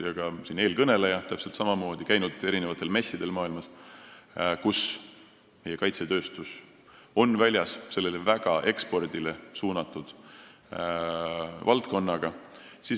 Samamoodi on eelkõneleja käinud messidel üle maailma, kus meie kaitsetööstus on olnud väljas selle väga ekspordile suunatud valdkonnaga.